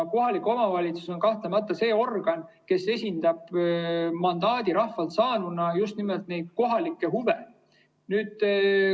Kohalik omavalitsus on kahtlemata see organ, kes esindab rahvalt mandaadi saanuna just nimelt kohalikke huve.